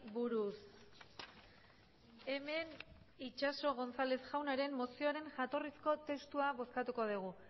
buruz hemen itxaso gonzález jaunaren mozioaren jatorrizko testua bozkatuko dugu